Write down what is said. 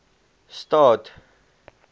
staad